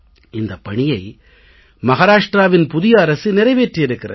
இந்தப் பணியை மஹாராஷ்ட்ராவின் புதிய அரசு நிறைவேற்றி இருக்கிறது